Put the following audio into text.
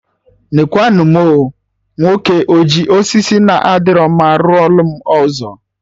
Nekwa nụ mụ oo! Nwoke a ji osisi na adịro mma rụọ lụ m ụzọ